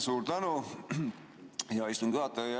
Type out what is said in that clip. Suur tänu, hea istungi juhataja!